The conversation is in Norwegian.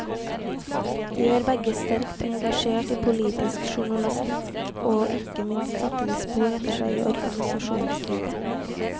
De var begge sterkt engasjert i politisk journalistikk, og ikke minst satte de spor etter seg i organisasjonslivet.